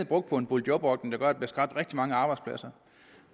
brugt på en boligjobordning der gør at der bliver skabt rigtig mange arbejdspladser